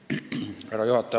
Härra juhataja!